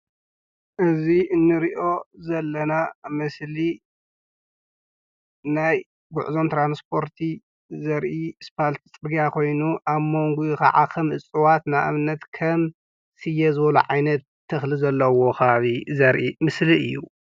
እዚ እንሪኦ ዘለና ምስሊ ናይ ጉዕዞን ትራንስፖርቲ ዘርኢ ኣስፋልቲ ፅርግያ ኾይኑ ኣብ ሞንጉኡ ከዓ ከም ዕፅዋት ንኣብነት ከም ስየ ዝበሉ ዓይነት ተኽሊ ዘለዎ ኸባቢ ዘርኢ ምስሊ እዩ፡፡